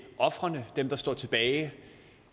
ofrene dem der står tilbage